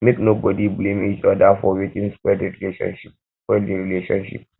make nobody blame each oda for wetin spoil di relationship spoil di relationship